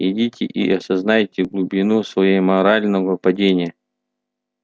идите и осознайте глубину своей морального падения